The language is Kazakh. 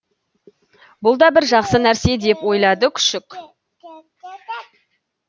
бұл да бір жақсы нәрсе деп ойлады күшік